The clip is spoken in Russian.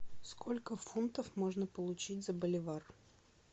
сколько фунтов можно получить за боливар